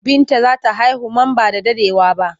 Binta za ta haihu man ba da daɗewa ba.